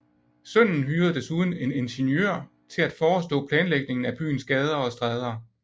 Sønnen hyrede desuden en ingeniør til at forestå planlægningen af byens gader og stræder